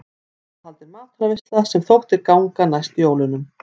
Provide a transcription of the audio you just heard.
Þá var haldin matarveisla sem þótti ganga næst jólunum.